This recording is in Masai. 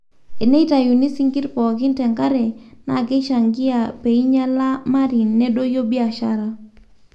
eneitayiuni sinkir pookin tenkare naa keishangia peinyala marine nedoyio biashara